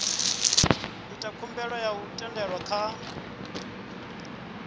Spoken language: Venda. ita khumbelo ya thendelo kha